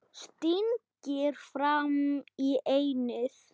Stingir fram í ennið.